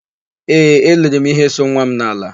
Ee, eIiri m íhé so nwa m n'ala.